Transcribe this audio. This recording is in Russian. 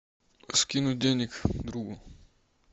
скинуть денег другу